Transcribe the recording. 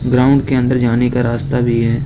Ground के अंदर जाने का रास्ता भी है।